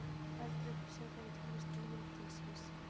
Eldri upplýsingar um tilvist mítilsins